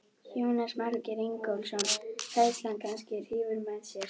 Jónas Margeir Ingólfsson: Hræðslan kannski hrífur með sér?